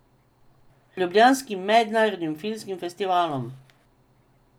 Ljubljanskim mednarodnim filmskim festivalom.